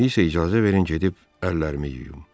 İndi isə icazə verin gedib əllərimi yuyum.